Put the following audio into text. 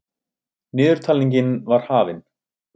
Niðurtalningin var hafin.